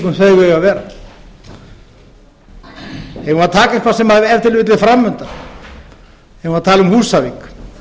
vera eigum við að taka eitthvað sem ef til vill er framundan eigum við að tala um húsavík